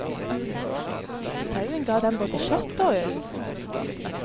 Sauen ga dem både kjøtt og ull.